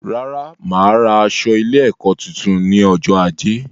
Rárá, máa ra aṣọ ilé ẹkọ tuntun ní ọjọ ajé